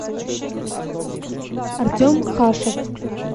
артем хашев